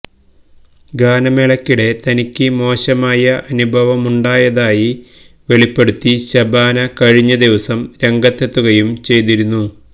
ഗാനമേളയ്ക്കിടെ തനിക്ക് മോശമായ അനുഭവമുണ്ടായതായി വെളിപ്പെടുത്തി ശബാന കഴിഞ്ഞദിവസം രംഗത്തെത്തുകയും ചെയ്തിരുന്നു